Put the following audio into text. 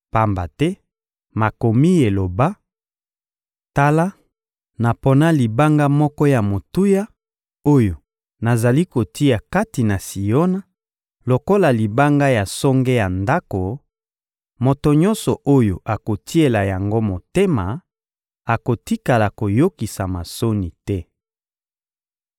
Pamba te Makomi eloba: «Tala, napona libanga moko ya motuya oyo nazali kotia kati na Siona lokola libanga ya songe ya ndako; moto nyonso oyo akotiela yango motema akotikala koyokisama soni te.»